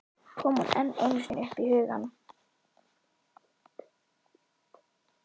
Kom hún enn einu sinni upp í hugann!